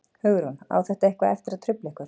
Hugrún: Á þetta eitthvað eftir að trufla ykkur?